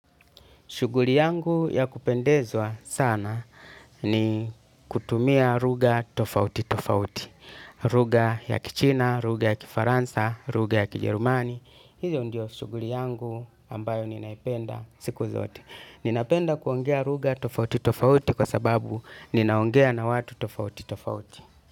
Shughuli yangu ya kupendezwa sana ni kutumia lugha tofauti tofauti. Lugha ya kichina, lugha ya kifaransa, lugha ya kijerumani. Hizo ndio shughuli yangu ambayo ninaipenda siku zote. Ninapenda kuongea lugha tofauti tofauti kwa sababu ninaongea na watu tofauti tofauti.